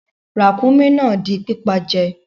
Ràkúnmí náà a di pípa je